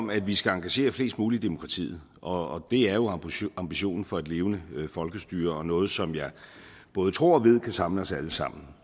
om at vi skal engagere fleste mulige i demokratiet og det er jo ambitionen for et levende folkestyre og noget som jeg både tror og ved kan samle os alle sammen